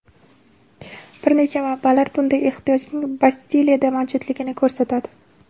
Bir necha manbalar bunday ehtiyojning Bastiliyada mavjudligini ko‘rsatadi.